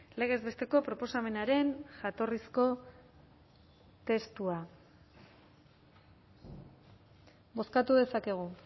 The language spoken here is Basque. legez besteko proposamenaren jatorrizko testua bozkatu dezakegu